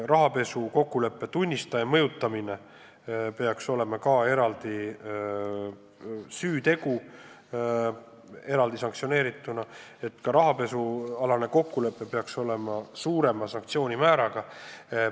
Rahapesualase kokkuleppe tunnistaja mõjutamine peaks olema eraldi sanktsioneeritav süütegu ja ka rahapesualase kokkuleppe eest peaks olema ette nähtud karmim karistus.